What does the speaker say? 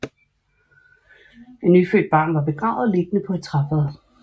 Et nyfødt barn var begravet liggende på et træfad